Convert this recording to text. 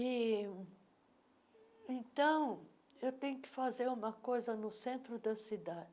e Então, eu tenho que fazer uma coisa no centro da cidade.